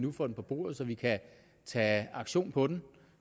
nu får den på bordet så vi kan tage aktion på den